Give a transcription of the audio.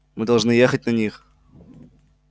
мы должны ехать на них